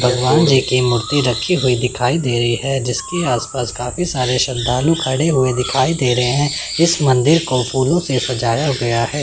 भगवान जी की मूर्ति रखी हुई दिखाई दे रही है जिसके आसपास काफी सारे श्रद्धालु खड़े हुए दिखाई दे रहे हैं इस मंदिर को फूलों से सजाया गया है।